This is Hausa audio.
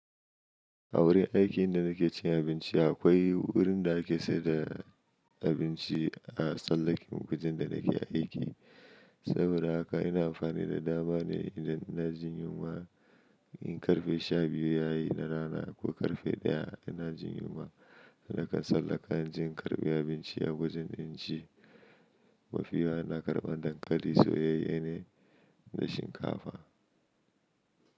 A wurin aikin da nake cin abinci akwai wurin da ake sayar da abinci a tsallaken wajen da nake aiki. Saboda haka ina amfani da dama ne idan ina jin yunwa. In karfe sha biyu yayi na rana ko karfe ɗaya ina jin yunwa, nakan tsallaka in je in karɓi abinci a wajen inci. Mafi yawa ina karɓan dankali, soyayye ne da shinkafa.